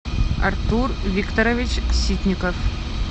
артур викторович ситников